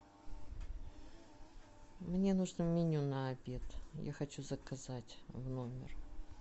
мне нужно меню на обед я хочу заказать в номер